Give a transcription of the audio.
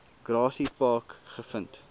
grassy park gevind